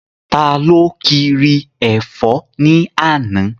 Taló kiri ẹ̀fọ́ ní àná?